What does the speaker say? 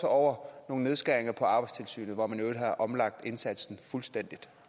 over nogle nedskæringer på arbejdstilsynets område hvor man i øvrigt har omlagt indsatsen fuldstændig